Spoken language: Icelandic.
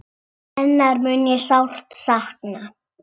Hennar mun ég sárt sakna.